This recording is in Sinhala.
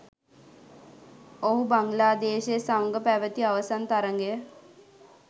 ඔහු බංගලාදේශය සමග පැවති අවසන් තරගය